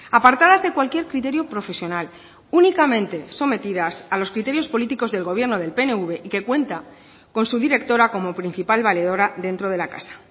apartadas de cualquier criterio profesional únicamente sometidas a los criterios políticos del gobierno del pnv y que cuenta con su directora como principal valedora dentro de la casa